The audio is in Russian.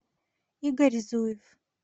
игорь зуев